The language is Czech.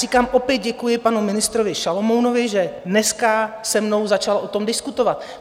Říkám, opět děkuji panu ministrovi Šalomounovi, že dneska se mnou začal o tom diskutovat.